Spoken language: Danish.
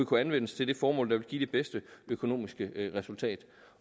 kunne anvendes til det formål der ville give det bedste økonomiske resultat